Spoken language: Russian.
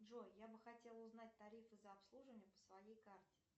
джой я бы хотела узнать тарифы за обслуживание по своей карте